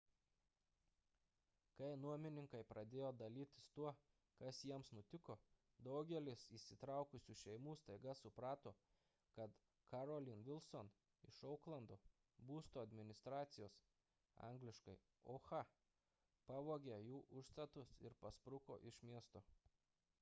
kai nuomininkai pradėjo dalytis tuo kas jiems nutiko daugelis įsitraukusių šeimų staiga suprato kad carolyn wilson iš ouklando būsto administracijos angl. oha pavogė jų užstatus ir paspruko iš miesto